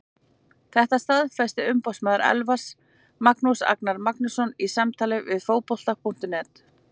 Þetta staðfesti umboðsmaður Elfars, Magnús Agnar Magnússon, í samtali við Fótbolta.net.